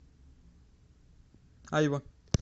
айва